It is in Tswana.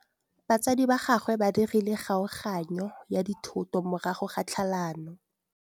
Batsadi ba gagwe ba dirile kgaoganyô ya dithoto morago ga tlhalanô.